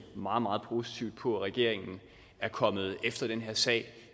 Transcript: meget meget positivt på at regeringen er kommet efter den her sag